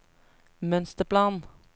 mønsterplan